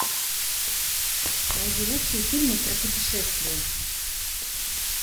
найди лучшие фильмы про путешествия